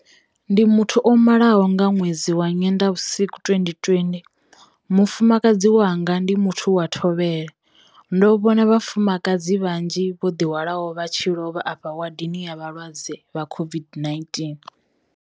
Ndi muthu o malaho nga ṅwedzi wa Nyendavhusiku 2020, mufumakadzi wanga ndi muthu wa thovhele. Ndo no vhona vhafumakadzi vhanzhi vho ḓihwalaho vha tshi lovha afho wadini ya vhalwadze vha COVID-19.